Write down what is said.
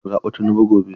Kada ku zaɓi Tinubu gobe.